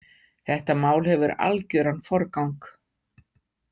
Þetta mál hefur algjöran forgang.